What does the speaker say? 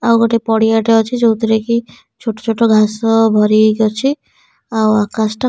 ଆଉ ଗୋଟେ ପଡିଆ ଟେ ଅଛି। ଯୋଉ ଥିରେ କି ଛୋଟ ଛୋଟ ଘାସ ଭରି ହେଇକି ଅଛି। ଆଉ ଆକାଶ ଟା --